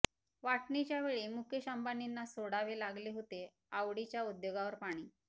वाटणीच्या वेळी मुकेश अंबानीना सोडावे लागले होते आवडीच्या उद्योगावर पाणी